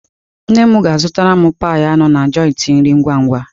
Nne m ga-zụtara m pie anụ na joịtị nri ngwa-ngwa.